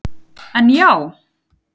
En já.